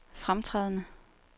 fremtrædende